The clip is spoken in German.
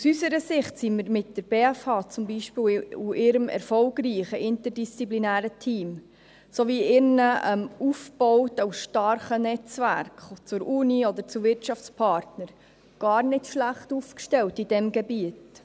Aus unserer Sicht sind wir zum Beispiel mit der BFH und ihrem erfolgreichen interdisziplinären Team sowie ihren aufgebauten und starken Netzwerken zur Universität oder zu Wirtschaftspartnern gar nicht schlecht aufgestellt in diesem Gebiet.